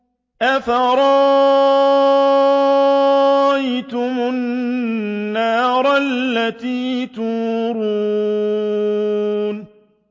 أَفَرَأَيْتُمُ النَّارَ الَّتِي تُورُونَ